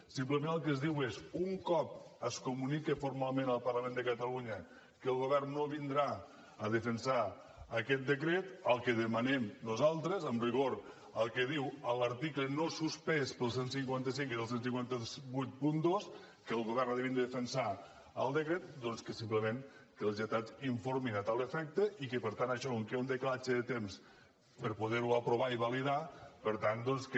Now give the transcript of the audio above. simplement el que es diu és un cop es comunique formalment al parlament de catalunya que el govern no vindrà a defensar aquest decret el que demanem nosaltres amb rigor al que diu l’article no suspès pel cent i cinquanta cinc que és el quinze vuitanta dos que el govern ha de venir a defensar el decret doncs que simplement els lletrats informin a tal efecte i que per tant això com que hi ha un decalatge de temps per poder ho aprovar i validar per tant doncs que